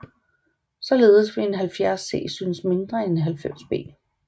Således vil en 70C synes mindre end en 90B